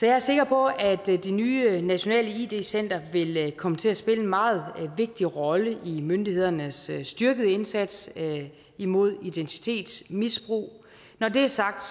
er sikker på at det nye center nationalt id center vil komme til at spille en meget vigtig rolle i myndighedernes styrkede indsats imod identitetsmisbrug når det er sagt